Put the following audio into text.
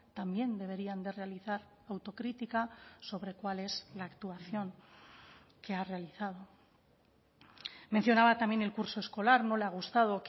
también deberían de realizar autocrítica sobre cuál es la actuación que ha realizado mencionaba también el curso escolar no le ha gustado